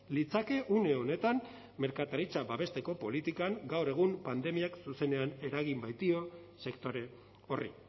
litzake une honetan merkataritza babesteko politikan gaur egun pandemiak zuzenean eragin baitio sektore horri